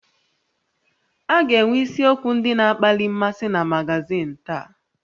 A ga-enwe isiokwu ndị na-akpali mmasị na magazin taa